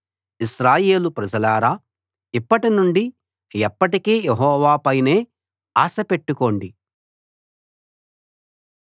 ఇశ్రాయేలు ప్రజలారా ఇప్పటి నుండి ఎప్పటికీ యెహోవా పైనే ఆశ పెట్టుకోండి